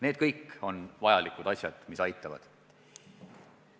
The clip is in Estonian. Need kõik on vajalikud asjad, mis aitavad.